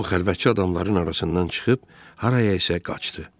O xəlvətcə adamların arasından çıxıb harayasa qaçdı.